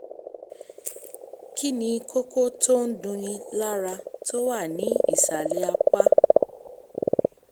kí ni kókó tó ń dunni lára tó wà ní ìsàlẹ̀ apá?